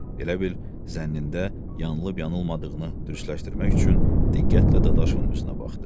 Elə bil zənnində yanlış-yanılmadığını düzənləşdirmək üçün diqqətlə Dadaşovun üzünə baxdı.